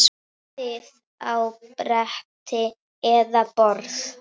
Raðið á bretti eða borð.